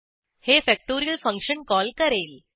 हे factorial function call करेल